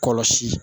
Kɔlɔsi